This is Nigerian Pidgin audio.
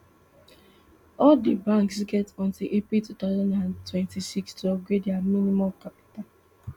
all di banks get until april two thousand and twenty-six to upgrade dia minimum capital